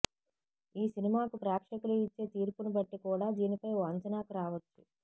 ఈ సినిమాకు ప్రేక్షకులు ఇచ్చే తీర్పును బట్టి కూడా దీనిపై ఓ అంచనాకు రావచ్చు